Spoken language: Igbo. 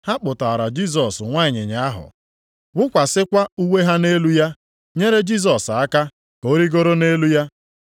Ha kpụtaara Jisọs nwa ịnyịnya ahụ, wụkwasịkwa uwe ha nʼelu ya, nyere Jisọs aka ka ọ rigoro nʼelu ya.